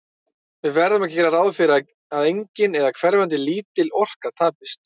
Við verðum að gera ráð fyrir að engin, eða hverfandi lítil, orka tapist.